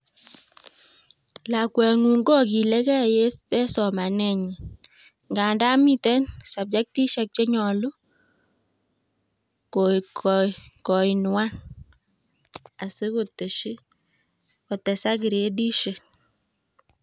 Lakwengung' kokilegei en somanenyi; ngandan miten subjektishek chenyolu koinuan asikotesak giredishek